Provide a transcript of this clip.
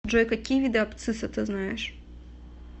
джой какие виды абцисса ты знаешь